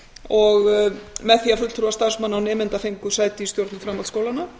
og með því að fulltrúar starfsmanna og nemenda fengu sæti í stjórnum framhaldsskólanna